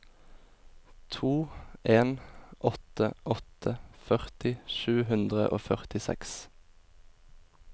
to en åtte åtte førti sju hundre og førtiseks